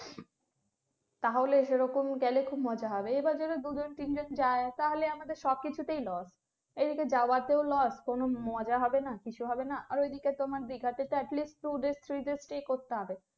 তাহলে সেরকম গেলে খুব মজা হবে এবার যদি দু জন তিনজন যায় তাহলে আমাদের সব কিছু তেই loss এদিকে যাওয়া তেও loss আর মজা হবে না কিছু হবেনা এদিকে তোমার দিঘাতে তো at least three days stay করতে হবে